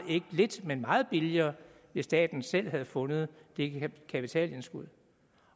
lidt men meget billigere hvis staten selv havde fundet det kapitalindskud